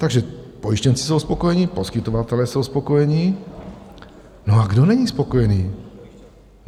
Takže pojištěnci jsou spokojeni, poskytovatelé jsou spokojeni, no a kdo není spokojený?